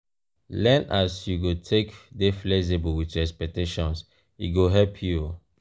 learn as you go take dey flexible with your expectations e go help you.